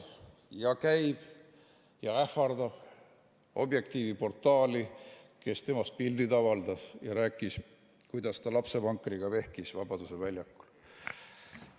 Ja käib ja ähvardab Objektiivi portaali, kes temast pildid avaldas ja rääkis, kuidas ta lapsevankriga vehkis Vabaduse väljakul.